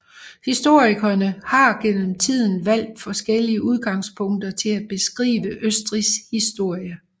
Historikere har gennem tiden valgt forskellige udgangspunkter til at beskrive Østrigs historie